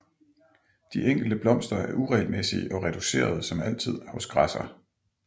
De enkelte blomster er uregelmæssige og reducerede som altid hos græsser